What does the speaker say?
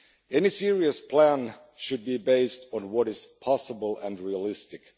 Any serious plan should be based on what is possible and realistic.